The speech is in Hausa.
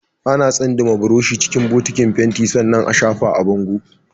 Ana tsindima burushi a cikin bokitin fenti sannan a shafa a bango